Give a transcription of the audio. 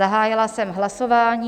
Zahájila jsem hlasování.